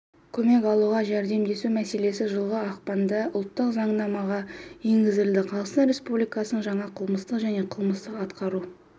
көмек алуға жәрдемдесу мәселесі жылғы ақпанда ұлттық заңнамаға енгізілді қазақстан республикасының жаңа қылмыстық және қылмыстық-атқару